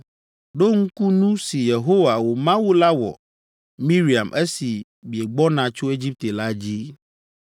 Ɖo ŋku nu si Yehowa, wò Mawu la wɔ Miriam esi miegbɔna tso Egipte la dzi.